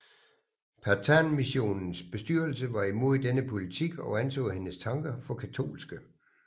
Pathanmissionens bestyrelse var imod denne politik og anså hendes tanker for katolske